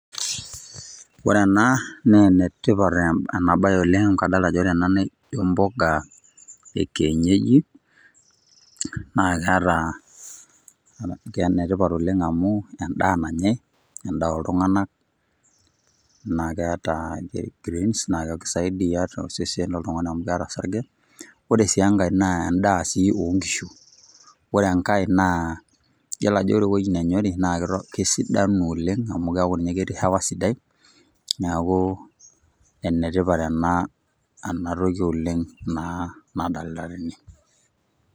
Ore ena, naa enetipat enabae oleng' kadolta ajo ore ena na ijo mpuka ekienyeji, na keeta enetipat oleng' amu endaa nanyai, endaa oltung'anak, na keeta greens na kekisaidia tosesen loltung'ani amu keeta osarge. Ore si enkae, naa endaa si onkishu. Ore enkae naa, yiolo ajo ore ewei nenyori, na kesidanu oleng', amu keeku ninye ketii hewa sidai, neeku enetipat ena enatoki oleng' naa nadalta tene.